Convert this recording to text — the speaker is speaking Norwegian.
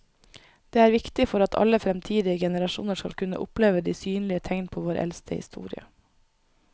Det er viktig for at alle fremtidige generasjoner skal kunne oppleve de synlige tegn på vår eldste historie.